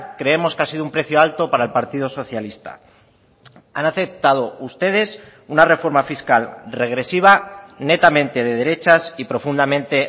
creemos que ha sido un precio alto para el partido socialista han aceptado ustedes una reforma fiscal regresiva netamente de derechas y profundamente